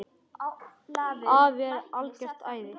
Afi er algert æði.